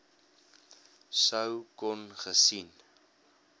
sou kon gesien